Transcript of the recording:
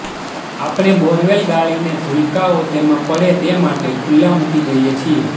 આપણે બોરવેલ ગાળીને ભૂલકાંઓ તેમાં પડે તે માટે ખુલ્લાં મૂકી દઈએ છીએ